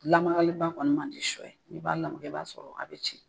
Lamakali ba kɔni man di sɔ ye. N'i b'a lamaka, i b'a sɔrɔ a bi ci.